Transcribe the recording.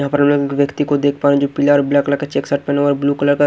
यहाँ पर व्यक्ति को देख पा रहे हैं जो पीला और ब्लैक कलर का चेक शर्ट पहना हुआ है और ब्लू कलर का --